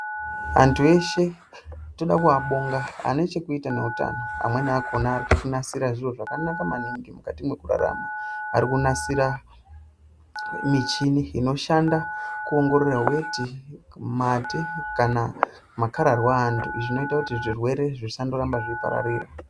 Antu eshe toda kuabonga, ane chekuita neutano, amweni akona ari kutinasira zviro zvakanaka maningi mukati mwekurarama. Ari kunasira michini inoshanda kuongorore weti, mate kana makararwa aantu. Izvi zvinoita kuti zvirwere zvisandoramba zvichipararira.